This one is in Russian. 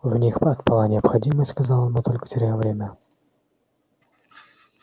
в них отпала необходимость сказал он мы только теряем время